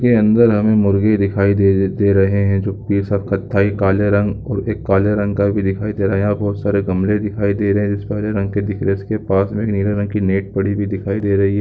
के अंदर हमे मुर्गे दिखाई दे रहे हैं जो कि कत्थाई काले रंग काले रंग का भी दिखाई दे रहा है बहुत सारे गमले दिखाई दे रहा है इस में हरे रंग के दिख रहे इसके पास में नीले रंग के नेट पड़ी हुई दिखाई दे रही है।